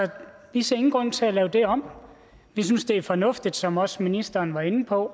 vi ser ingen grund til at lave det om vi synes det er fornuftigt som også ministeren var inde på